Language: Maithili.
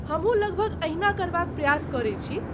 हमहूँ लगभग एहिना करबाक प्रयास करै छी।